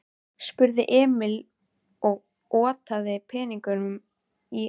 spurði Emil og otaði peningunum að henni.